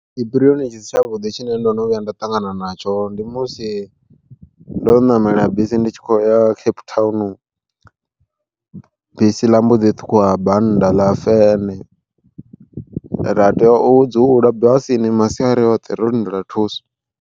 Tshipiriyoni tshi si tshavhuḓi tshine ndo no vhuya nda ṱangana natsho ndi musi ndo ṋamela bisi ndi tshi khou ya Cape Town, bisi ḽa mbo ḓi ṱhukhuwa banda ḽa fene ra tea u dzula basini masiari oṱhe ro lindela thuso.